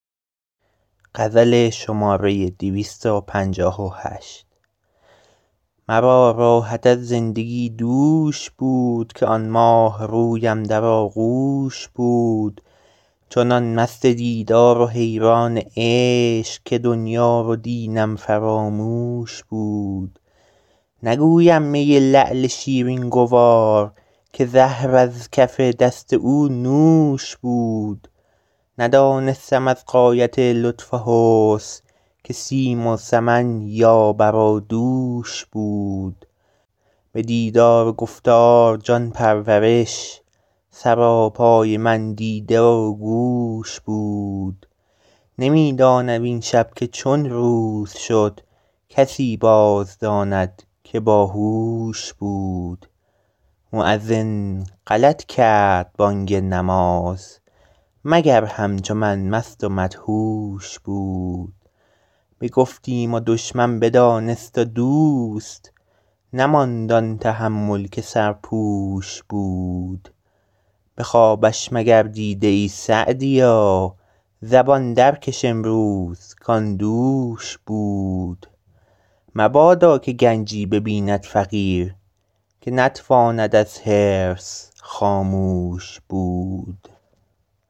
مرا راحت از زندگی دوش بود که آن ماهرویم در آغوش بود چنان مست دیدار و حیران عشق که دنیا و دینم فراموش بود نگویم می لعل شیرین گوار که زهر از کف دست او نوش بود ندانستم از غایت لطف و حسن که سیم و سمن یا بر و دوش بود به دیدار و گفتار جان پرورش سراپای من دیده و گوش بود نمی دانم این شب که چون روز شد کسی باز داند که با هوش بود مؤذن غلط کرد بانگ نماز مگر همچو من مست و مدهوش بود بگفتیم و دشمن بدانست و دوست نماند آن تحمل که سرپوش بود به خوابش مگر دیده ای سعدیا زبان در کش امروز کآن دوش بود مبادا که گنجی ببیند فقیر که نتواند از حرص خاموش بود